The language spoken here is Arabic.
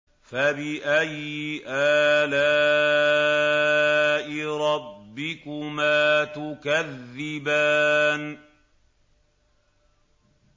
فَبِأَيِّ آلَاءِ رَبِّكُمَا تُكَذِّبَانِ